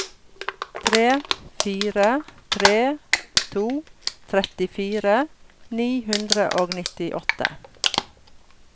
tre fire tre to trettifire ni hundre og nittiåtte